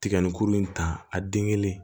Tiga ni kuru in ta a den kelen